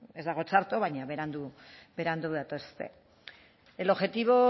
ez dago txarto baina berandu berandu datoz el objetivo